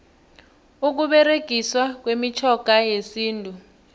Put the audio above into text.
ukuberegiswa kwemitjhoga yesintu